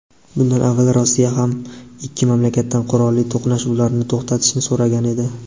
Bundan avval Rossiya ham ikki mamlakatdan qurolli to‘qnashuvlarni to‘xtatishni so‘ragan edi.